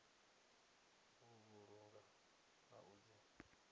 u vhulunga na u dzi